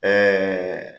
Ɛɛ